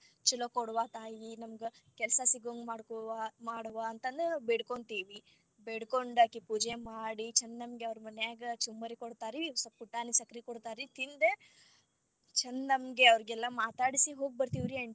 ಚೊಲೋ ಕೊಡವಾ ತಾಯಿ ನಮಗ ಕೆಲಸಾ ಸಿಗು ಹಂಗ ಮಾಡ್ಕೊಡವಾ ಮಾಡವ್ವ ಅಂತಂದ ಬೇಡ್ಕೊಂತೀವಿ, ಬೇಡ್ಕೊಂಡ ಅಕಿ ಪೂಜೆ ಮಾಡಿ ಚಂದಂಗೆ ಅವ್ರ ಮನ್ಯಾಗ ಚುಮ್ಮರಿ ಕೊಡ್ತಾರರಿ ಸ್ವಲ್ಪ್ ಪುಟಾಣಿ ಸಕ್ರಿ ಕೊಡ್ತಾರರಿ ತಿಂದ ಚಂದಂಗೆ ಅವ್ರಿಗೆಲ್ಲಾ ಮಾತಾಡಿಸಿ ಹೋಗ್ಬರ್ತೆವ್ರಿ aunty .